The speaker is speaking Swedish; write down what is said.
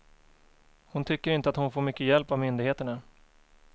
Hon tycker inte att hon får mycket hjälp av myndigheterna.